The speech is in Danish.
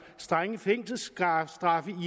strenge fængselsstraffe